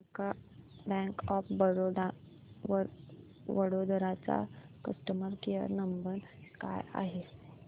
bank of Baroda Vadodara चा customer care number काय आहे